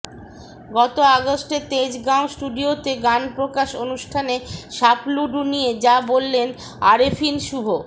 গত আগস্টে তেজগাঁও স্টুডিওতে গান প্রকাশ অনুষ্ঠানে সাপলুডু নিয়ে যা বললেন আরেফিন শুভ